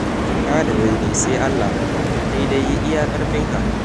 Cika da daidai sai Allah, kai dai yi iya ƙarfinka.